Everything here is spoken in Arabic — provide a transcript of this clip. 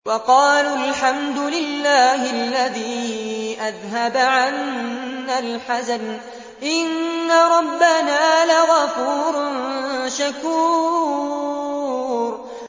وَقَالُوا الْحَمْدُ لِلَّهِ الَّذِي أَذْهَبَ عَنَّا الْحَزَنَ ۖ إِنَّ رَبَّنَا لَغَفُورٌ شَكُورٌ